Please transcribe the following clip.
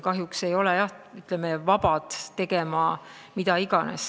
Kahjuks ei ole me jah vabad tegema mida iganes.